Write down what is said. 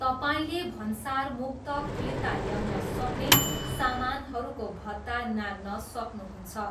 तपाईँले भन्सार मुक्त फिर्ता ल्याउन सक्ने सामानहरूको भत्ता नाघ्न सक्नुहुन्छ।